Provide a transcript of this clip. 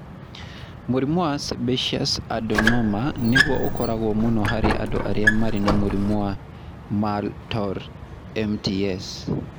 Mũrimũ wa sebaseous adenoma nĩguo ũkoragwo mũno harĩ andũ arĩa marĩ na mũrimũ wa Muir Torre (MTS).